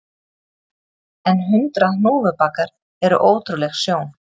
En hundrað hnúfubakar eru ótrúleg sjón